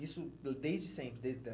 Isso dã desde sempre, desde a?